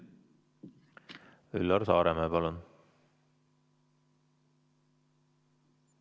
Üllar Saaremäe, palun!